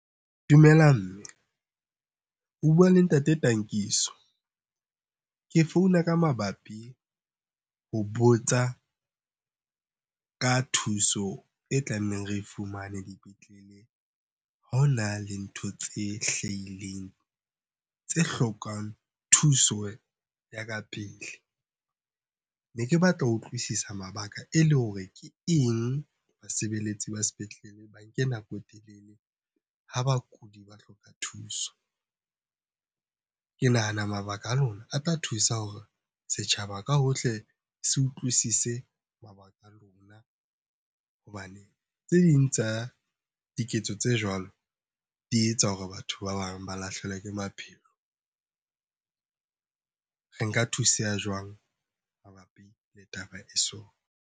Dumelang mme, o bua le Ntate Tankiso. Ke founa ka mabapi ho botsa ka thuso e tlamehang re e fumane dipetlele ha ho na le ntho tse hlahileng tse hlokang thuso ya ka pele. Ne ke batla ho utlwisisa mabaka e le hore ke eng basebeletsi ba sepetlele ba nke nako e telele ha bakudi ba hloka thuso? Ke nahana mabaka a lona a tla thusa hore setjhaba ka hohle se utlwisise mabaka a lona hobane tse ding tsa diketso tse jwalo di etsa hore batho ba bang ba lahlehelwe ke maphelo. Re nka thuseha jwang mabapi le taba e .